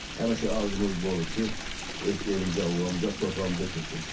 Həmişə arzumuz bu olub ki, öz elimizə, ovamıza, torpağımıza köçək.